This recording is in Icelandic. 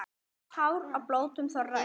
Hár á blótum þorra er.